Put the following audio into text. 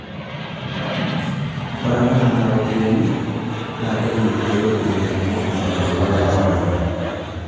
Ore apa nena ropiyiani naa keji apa peeilepunyieki maendeleo emurua.